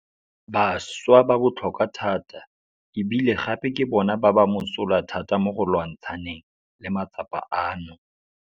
Bašwa ba botlhokwa thata e bile gape ke bona ba ba mosola thata mo go lwantshaneng le matsapa ano.